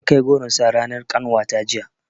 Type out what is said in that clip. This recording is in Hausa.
Ankai goron sa ranar ƙanwata jiya